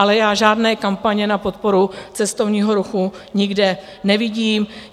Ale já žádné kampaně na podporu cestovního ruchu nikde nevidím.